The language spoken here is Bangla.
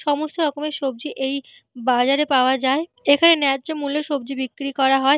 সমস্ত রকমের সবজি এই বাজারে পাওয়া যায়। এখানে ন্যায্য মূল্য সবজি বিক্রি করা হয়।